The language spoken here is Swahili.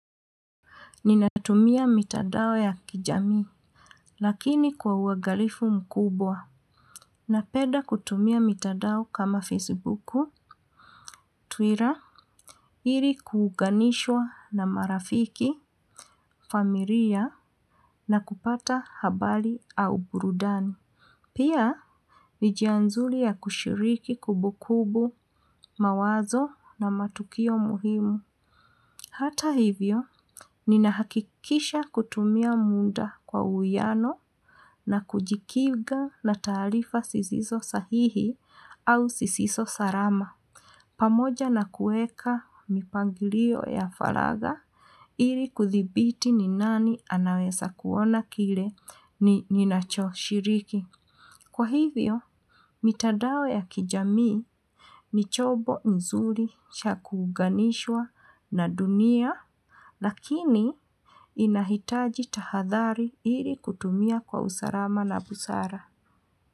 Ninatumia mitandao ya kijamii, lakini kwa uangalifu mkubwa, napenda kutumia mitandao kama Facebook, Twitter, ili kuunganishwa na marafiki, familia, na kupata habari au burudani. Pia, ni njia nzuri ya kushiriki kumbukumbu, mawazo na matukio muhimu. Hata hivyo, ninahakikisha kutumia muda kwa uwiano na kujikinga na taarifa zisizo sahihi au zisizo salama. Pamoja na kuweka mipangilio ya faraga, ili kuthibiti ni nani anaweza kuona kile ninachoshiriki. Kwa hivyo, mitandao ya kijamii ni chombo nzuri cha kuunganishwa na dunia, lakini inahitaji tahadhari ili kutumia kwa usalama na busara.